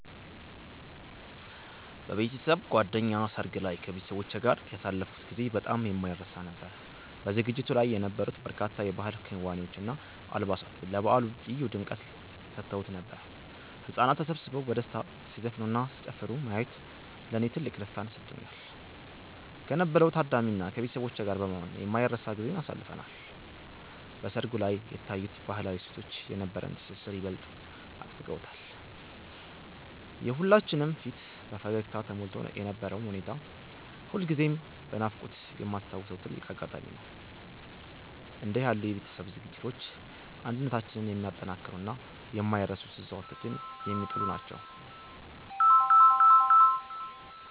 በቤተሰብ ጓደኛ ሰርግ ላይ ከቤተሰቦቼ ጋር ያሳለፍኩት ጊዜ በጣም የማይረሳ ነበር። በዝግጅቱ ላይ የነበሩት በርካታ የባህል ክዋኔዎች እና አልባሳት ለበዓሉ ልዩ ድምቀት ሰጥተውት ነበር። ህጻናት ተሰብስበው በደስታ ሲዘፍኑና ሲጨፍሩ ማየት ለኔ ትልቅ ደስታን ሰጥቶኛል። ከነበረው ታዳሚ እና ከቤተሰቦቼ ጋር በመሆን የማይረሳ ጊዜን አሳልፈናል። በሰርጉ ላይ የታዩት ባህላዊ እሴቶች የነበረንን ትስስር ይበልጥ አጥብቀውታል። የሁላችንም ፊት በፈገግታ ተሞልቶ የነበረው ሁኔታ ሁልጊዜም በናፍቆት የማስታውሰው ትልቅ አጋጣሚ ነው። እንዲህ ያሉ የቤተሰብ ዝግጅቶች አንድነታችንን የሚያጠናክሩና የማይረሱ ትዝታዎችን የሚጥሉ ናቸው።